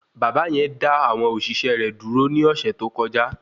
Bàbá yẹn dá àwọn òṣìṣẹ́ rẹ dúró ní ọ̀sẹ̀ tó kọjá